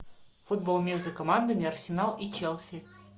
футбол между командами арсенал и челси